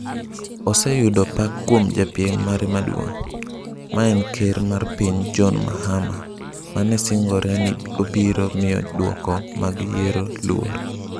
Oseyudo pak kuom japiem mare maduong', maen ker mar piny John Mahama, mane singore ni obiro miyo duoko mag yiero luor.